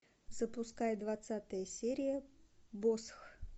запускай двадцатая серия босх